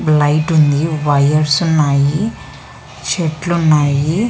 light ఉంది వైరుస్ఉ న్నాయి చెట్లు ఉన్నాయి--